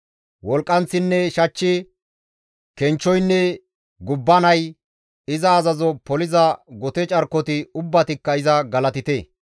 Wolqqanththinne shachchi, kenchchoynne gubbanay, iza azazo poliza gote carkoti ubbatikka iza galatite.